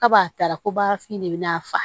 Kaba taara ko baarafin ne bɛ n'a fa